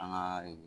An ka